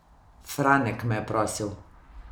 Franek me je prosil.